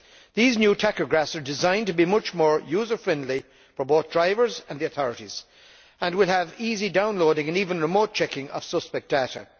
These new tachographs are designed to be much more user friendly for both drivers and the authorities and will feature easy downloading and even remote checking of suspect data.